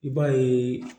I b'a yeee